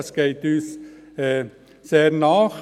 Es geht uns sehr nahe.